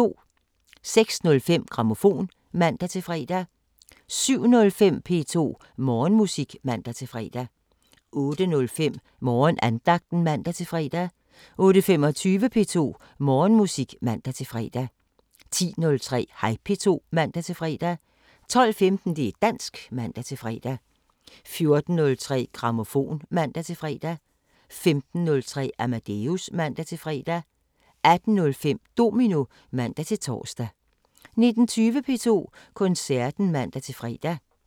06:05: Grammofon (man-fre) 07:05: P2 Morgenmusik (man-fre) 08:05: Morgenandagten (man-fre) 08:25: P2 Morgenmusik (man-fre) 10:03: Hej P2 (man-fre) 12:15: Det´ dansk (man-fre) 14:03: Grammofon (man-fre) 15:03: Amadeus (man-fre) 18:05: Domino (man-tor) 19:20: P2 Koncerten (man-fre)